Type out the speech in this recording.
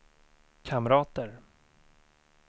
kamrater